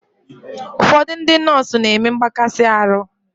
Ụfọdụ ndị nọọsụ n'eme mgbakasi arụ